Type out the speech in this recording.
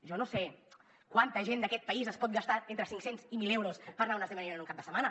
jo no sé quanta gent d’aquest país es pot gastar entre cinc cents i mil euros per anar a un esdeveniment un cap de setmana